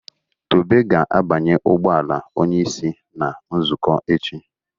Tobe ga-abanye ụgbọ ala onye isi na nzukọ echi